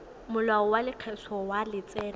molao wa lekgetho wa letseno